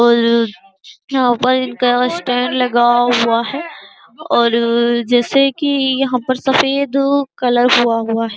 और यहाँ पल इनका स्टैंड लगा हुआ है और जैसे की यहाँ पर सफ़ेद कलर हुआ हुआ है।